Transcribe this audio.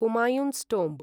Humayun's tomb